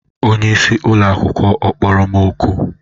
Onyeisi ụlọ akwụkwọ ọ kpọrọ m oku?